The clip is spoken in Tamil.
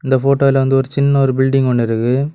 இந்த போட்டோல வந்து ஒரு சின்ன ஒரு பில்டிங் ஒன்னு இருக்கு.